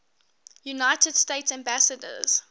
united states ambassadors